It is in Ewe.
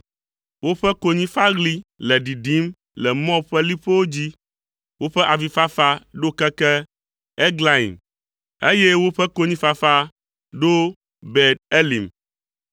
Woƒe konyifaɣli le ɖiɖim le Moab ƒe liƒowo dzi; woƒe avifafa ɖo keke Eglaim, eye woƒe konyifafa ɖo Beer Elim.